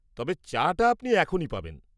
তবে, চাটা আপনি এখনই পাবেন।